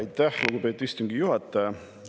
Aitäh, lugupeetud istungi juhataja!